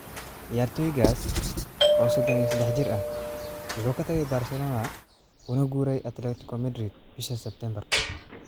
Ciyaartoygaas, oo sodon iyo sadex jir ah, wuxuu ka tagay Barcelona una guuray Atletico Madrid bisha Sebtembar.